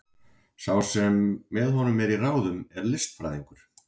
Sá sem með honum er í ráðum er listfræðingur.